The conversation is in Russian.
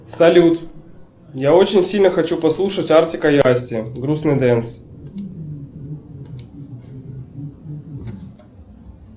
салют я очень хочу послушать артика и асти грустный дэнс